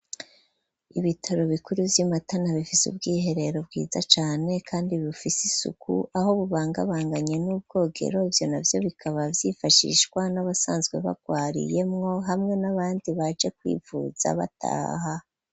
Ibitaro bikuru by'i Matana bifise ubwiherero bwiza cane kandi bufise isuku aho bubangabanganye n'ubwogero ivyo na vyo bikaba vyifashishwa n'abasanzwe bagwariyemwo hamwe n'abandi baje kwivuza bataha.